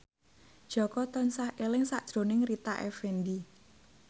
Jaka tansah eling sakjroning Rita Effendy